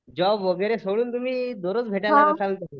Job वगैरे सोडून दररोज भेटायला जाचाला?